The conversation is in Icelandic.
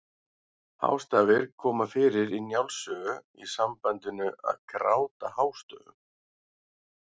Hástafir koma fyrir í Njáls sögu í sambandinu að gráta hástöfum.